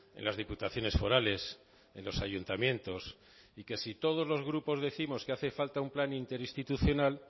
en las diputaciones forales en los ayuntamientos y que si todos los grupos décimos que hace falta un plan interinstitucional